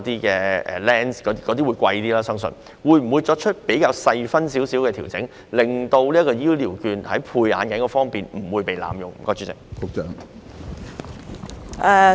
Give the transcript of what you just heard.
由於後者較為昂貴，當局會否作出較細緻的調整，令長者醫療券不會在配置眼鏡方面被濫用？